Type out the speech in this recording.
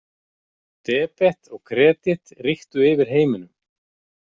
Debet og kredit ríktu yfir heiminum.